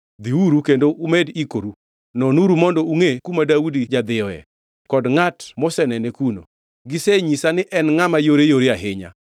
Dhiuru kendo umed ikoru. Nonuru mondo ungʼe kuma Daudi jadhiyoe kod ngʼat mosenene kuno. Gisenyisa ni en ngʼama yoreyore ahinya.